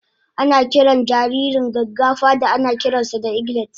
Ana kiran jaririn gaggafa da anakiran sa da eglet